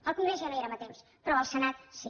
al congrés ja no hi érem a temps però al senat sí